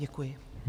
Děkuji.